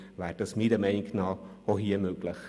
Das wäre meiner Meinung nach auch hier möglich.